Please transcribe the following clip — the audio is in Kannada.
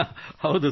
ಹೌದು ಸರ್